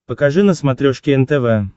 покажи на смотрешке нтв